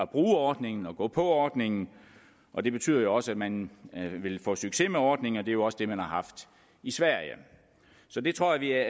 bruge ordningen og gå på ordningen og det betyder jo også at man vil få succes med ordningen og det er jo også det man har haft i sverige så det tror jeg